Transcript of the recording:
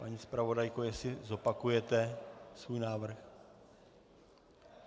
Paní zpravodajko, jestli zopakujete svůj návrh?